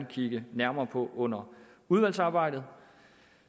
kigge nærmere på under udvalgsarbejdet